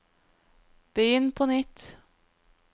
begynn på nytt